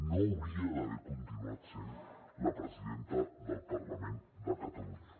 no hauria d’haver continuat sent la presidenta del parlament de catalunya